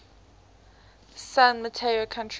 san mateo county